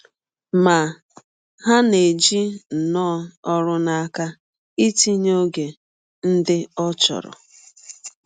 Ma, ha na - eji nnọọ ọrụ n’aka ịtịnye ọge ndị ọ chọrọ.